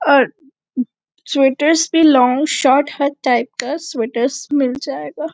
और स्वेटएर्स में long short हर टाइप का स्वेटएर्स मिल जायेगा--